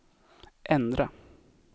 ändra